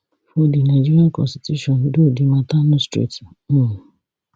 for di nigeria constitution though di mata no straight um